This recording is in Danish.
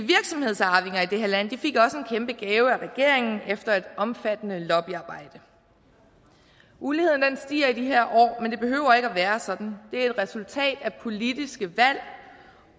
det her land fik også en kæmpe gave af regeringen efter et omfattende lobbyarbejde uligheden stiger i de her år men det behøver ikke at være sådan det er et resultat af politiske valg